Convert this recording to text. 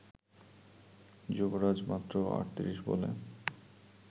যুবরাজ মাত্র ৩৮ বলে